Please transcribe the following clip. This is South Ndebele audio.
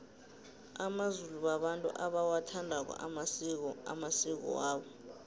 amazulu babantu abawathandako amasiko amasiko wabo